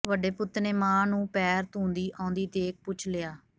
ਵੱਡੇ ਪੁੱਤ ਨੇ ਮਾਂ ਨੂੰ ਪੈਰ ਧੂੰਹਦੀ ਆਉਂਦੀ ਦੇਖ਼ ਪੁੱਛ ਲਿਆ